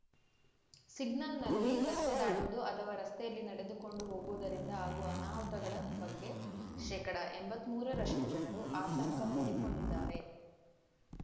ಸಿಗ್ನಲ್‌ನಲ್ಲಿ ರಸ್ತೆ ದಾಟುವುದು ಅಥವಾ ರಸ್ತೆಯಲ್ಲಿ ನಡೆದುಕೊಂಡು ಹೋಗುವುದರಿಂದ ಆಗುವ ಅನಾಹುತಗಳ ಬಗ್ಗೆ ಶೇಕಡಾ ಎಂಬತ್ತ್ ಮೂರ ರಷ್ಟುಜನರು ಆತಂಕ ತೋಡಿಕೊಂಡಿದ್ದಾರೆ